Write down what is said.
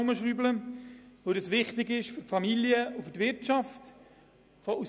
Diese sind sowohl für Familien als auch für die Wirtschaft wichtig.